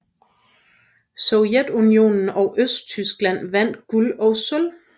Sovjetunionen og Østtyskland vandt guld og sølv